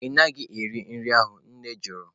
Ị naghị eri nri ahụ? Nne jụrụ